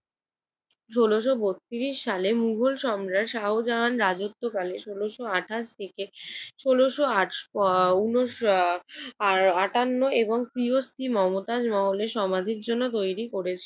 ষোলশ বত্রিশ সালে মুঘল সম্রাট শাহজাহান রাজত্বকালে ষোলশ আটাশ থেকে ষোল আট উহ ওয়া উনিশা আহ আটান্ন এবং প্রিয় স্ত্রী মমতাজ মহলের সমাধির জন্য তৈরি করেছিল।